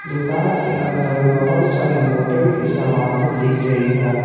दुकान के अंदर बहोत सारी मोटर की समाने दिख रही है।